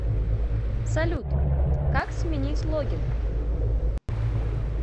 салют как сменить логин